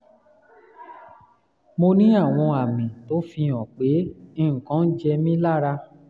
mo ní àwọn àmì tó fihàn pé nǹkan jẹ mí lára